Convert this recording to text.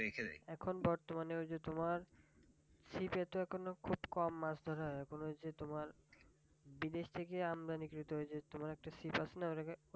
এখন বর্তমানে ওই যে তোমার ছিপে তো এখন কম মাছ ধরা হয় মনে হয় যে তোমার বিদেশ থেকে আমদানি কৃত ওই যে তোমার একটা ছিপ আছে না